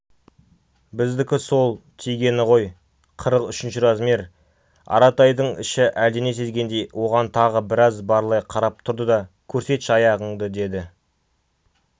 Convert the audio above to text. біздікі сол тигені ғой қырық үшінші размер аратайдың іші әлдене сезгендей оған тағы біраз барлай қарап тұрды да көрсетші аяғыңды деді